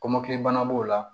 Kɔmɔkili bana b'o la